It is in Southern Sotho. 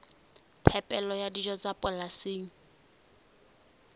phepelo ya dijo tsa polasing